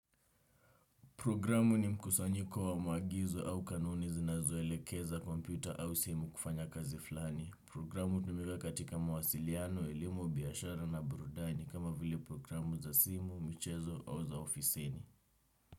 Programu ni mkusanyiko wa maagizo au kanuni zinazoelekeza kompyuta au simu kufanya kazi flani. Programu hutumika katika mawasiliano, elimu, biashara na burudani kama vile programu za simu, michezo au za ofisini.